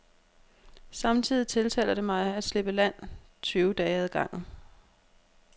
Samtidig tiltaler det mig at slippe land tyve dage ad gangen.